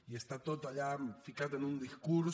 i està tot allà ficat en un discurs